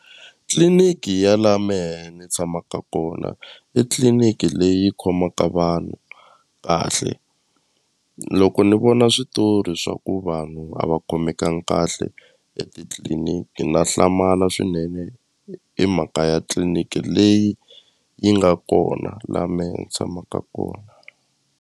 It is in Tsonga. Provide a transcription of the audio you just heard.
Tliliniki ya la mehe ni tshamaka kona i tliliniki leyi khomaka vanhu kahle loko ni vona switori swa ku vanhu a va khomekangi kahle etitliliniki na hlamala swinene hi mhaka ya tliliniki leyi yi nga kona la me ni tshamaka kona.